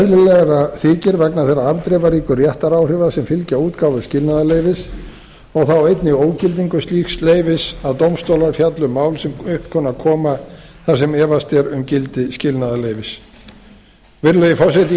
eðlilegra þykir vegna þeirra afdrifaríku réttaráhrifa sem fylgja útgáfu skilnaðarleyfis og þá einnig ógildingu slíks leyfis að dómstólar fjalli um mál sem upp kunna að koma þar sem efast er um gildi skilnaðarleyfis virðulegi forseti ég